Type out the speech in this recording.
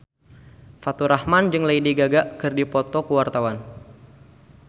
Faturrahman jeung Lady Gaga keur dipoto ku wartawan